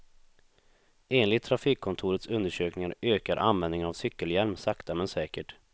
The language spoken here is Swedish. Enligt trafikkontorets undersökningar ökar användningen av cykelhjälm sakta men säkert.